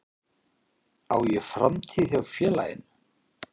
Á ég framtíð hjá félaginu?